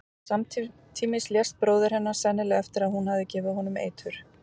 Samtímis lést bróðir hennar, sennilega eftir að hún hafði gefið honum eitur.